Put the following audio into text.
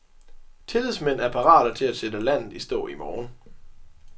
Tillidsmænd er parate til at sætte landet i stå i morgen.